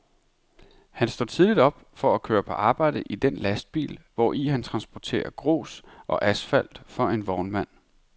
Han står tidligt op for at køre på arbejde i den lastbil, hvori han transporterer grus og asfalt for en vognmand.